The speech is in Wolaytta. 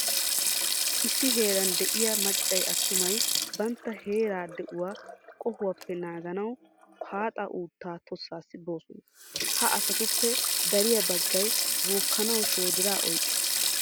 Issi heeran de"iya maccay attumay bantta heeraa di"uwa qohuwappe naaganawu haaxa uuttaa tossaassi boosona. Ha asatuppe dariya baggay bookkanawu shoodiraa oyqqiis.